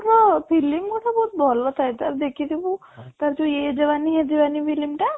ର film ଗୁଡା ବହୁତ ଭଲ ଥାଏ ତାର ଦେଖି ଥିବୁ ତାର ଯୋଉ film ଟା